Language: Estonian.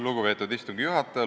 Lugupeetud istungi juhataja!